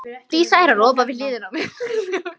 Þau hefðu átt að fara til Kanaríeyja.